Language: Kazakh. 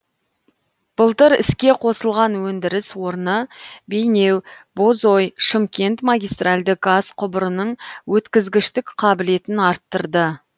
былтыр іске қосылған өндіріс орны бейнеу бозой шымкент магистральды газ құбырының өткізгіштік қабілетін арттырды